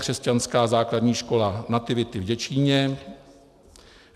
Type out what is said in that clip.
Křesťanská základní škola Nativity v Děčíně;